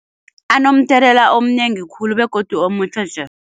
Anomthelela omnengi khulu begodu